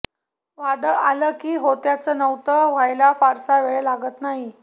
वादळ आलं की होत्याचं नव्हतं व्हायला फारसा वेळ लागत नाही